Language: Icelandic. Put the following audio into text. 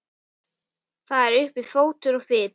Jafnvel þó að verðið væri í hærri kantinum.